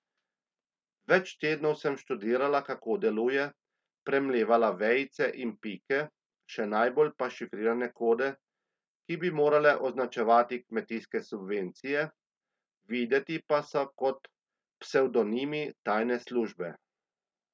Več tednov sem študirala, kako deluje, premlevala vejice in pike, še najbolj pa šifrirane kode, ki bi morale označevati kmetijske subvencije, videti pa so kot psevdonimi tajne službe.